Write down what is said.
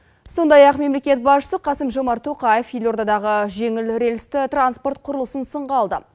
сондай ақ мемлекет басшысы қасым жомарт тоқаев елордадағы жеңіл рельсті транспорт құрылысын сынға алды